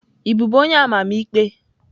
Ị bụbu onye amamikpe?